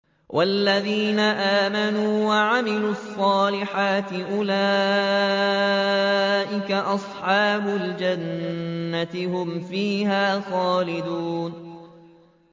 وَالَّذِينَ آمَنُوا وَعَمِلُوا الصَّالِحَاتِ أُولَٰئِكَ أَصْحَابُ الْجَنَّةِ ۖ هُمْ فِيهَا خَالِدُونَ